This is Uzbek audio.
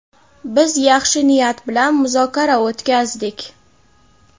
Biz yaxshi niyat bilan muzokara o‘tkazdik.